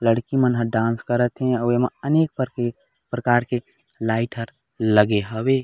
लड़की मन ह डांस करत हे अऊ एमा अनेक पर प्रकार लाइट हर लगे हवे।